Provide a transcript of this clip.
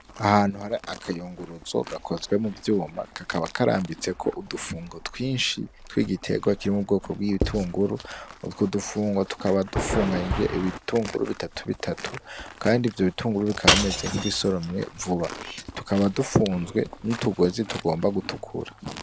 Ahantu hari akayunguruzo gakozwe muvyuma kakaba karambitseko udufungo twinshi twigitegwa kiri m'ubwoko bw'igitunguru. Utwo dufungo tukaba dufunganyijwe ibitunguru bitatu bitatu, kandi ivyo bitunguru bikaba bimeze nkibisoromwe vuba. Tukaba dufunzwe nutugozi tugomba gutukura.